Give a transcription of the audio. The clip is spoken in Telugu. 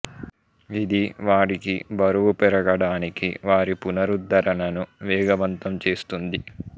ఇది వారికి బరువు పెరగడానికి వారి పునరుద్ధరణను వేగవంతం చేస్తుంది